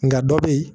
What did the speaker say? Nka dɔ bɛ yen